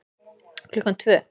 Klukkan tvö